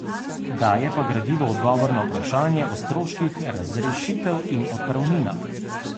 Daje pa gradivo odgovor na vprašanje o stroških razrešitev in odpravninah.